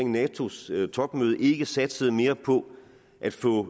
natos topmøde ikke satsede mere på at få